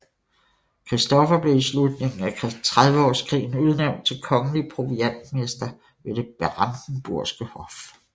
Christoffer blev i slutningen af Trediveårskrigen udnævnt til kongelig proviantmester ved det Brandenburgske Hof